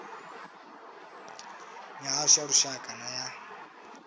mihasho ya lushaka na ya